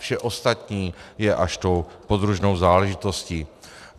Vše ostatní je až tou podružnou záležitostí.